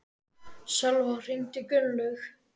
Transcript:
Sölva, hringdu í Gunnlaug.